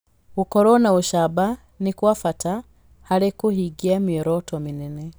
Gũkorwo na ũcamba nĩ kwa bata harĩ kũhingia mĩoroto mĩnene.